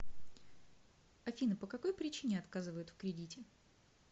афина по какой причине отказывают в кредите